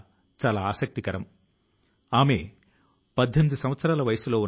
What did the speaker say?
ఇది స్వచ్ఛతకే సంబంధించినటువంటి తదుపరి దశ అన్నమాట